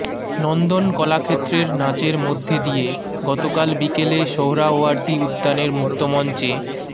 নন্দন কলাক্ষেত্রের নাচের মধ্য দিয়ে গতকাল বিকেলে সোহরাওয়ার্দী উদ্যানের মুক্তমঞ্চে